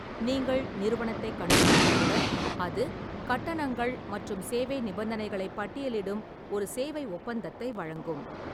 நீங்கள் நிறுவனத்தைக் கண்டுபிடித்தவுடன், அது கட்டணங்கள் மற்றும் சேவை நிபந்தனைகளைப் பட்டியலிடும் ஒரு சேவை ஒப்பந்தத்தை வழங்கும்.